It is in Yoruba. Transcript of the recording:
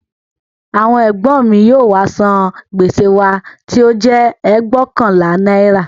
Àwọn ègbọ́n mi yóò wá san gbèsè wa tí ó jẹ́ ẹgbóokànlá náírà